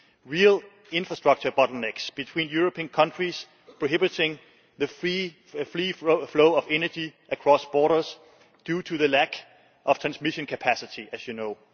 real infrastructure bottlenecks between European countries prohibiting the free flow of energy across borders due to the lack of transmission capacity, as you know